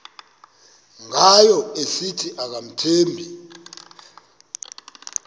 ngayo esithi akamthembi